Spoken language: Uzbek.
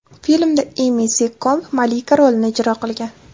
Filmda Emi Sekkomb malika rolini ijro qilgan.